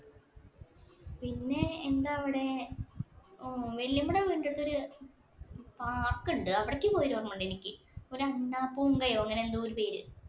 പിന്നെ എന്താ അവിടെ. വല്യമ്മയുടെ വീടിനടുത്ത് ഒരു park ഉണ്ട്. അവിടേക്ക് പോയത് ഓര്‍മ്മയുണ്ട് എനിക്ക്. ഒരു അണ്ണാ പുംഗയൊ അങ്ങനെ എന്തോ ഒരു പേര്.